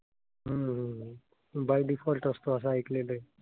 हम्म by default असतो असं ऐकलेलं आहे.